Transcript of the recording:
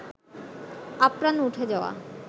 আপ্রাণ উঠে যাওয়া